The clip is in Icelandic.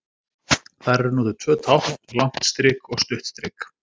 Þar eru notuð tvö tákn, langt strik og stutt strik.